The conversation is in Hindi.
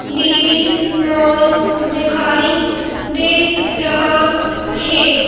डी_बी मॉल दिखाई दे रहा है।